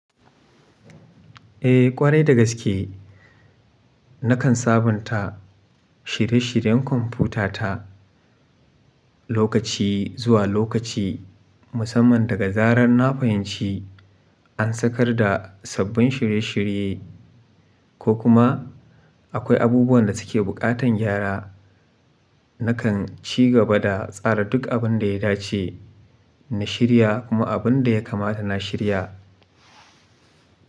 Eh ƙwarai da gaske nakan sabunta shire-shiren kwamfutata lokaci zuwa lokaci musamman daga zarar na fahimci an sakar da sabbin shirye-shirye ko kuma akwai abubuwan da suke buƙatan gyara. Nakan ci gaba da tsara duk abin da ya dace na shirya kuma abin da ya kamata na shirya.